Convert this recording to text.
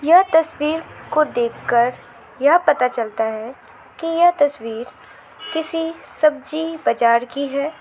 यह तस्वीर को देखकर यह पता चलता है की यह तस्वीर किसी सब्जी बजार की है।